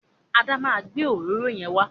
Ada ma gbé òróró yẹn wa.